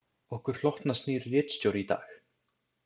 Okkur hlotnast nýr ritstjóri í dag.